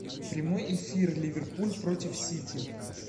прямой эфир ливерпуль против сити